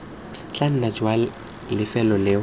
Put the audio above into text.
tla nna jwa lefelo leo